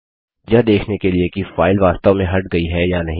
यह देखने के लिए कि फाइल वास्तव में हट गई है या नहीं